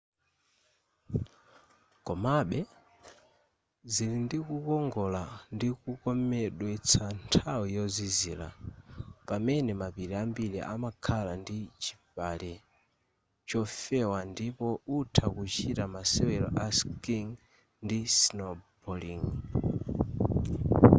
komabe zilindikukongola ndi kukomedwetsa nthawi yozizira pamene mapiri ambiri amakhala ndi chpale chofewa ndipo utha kuchita masewero a skiing ndi snowballing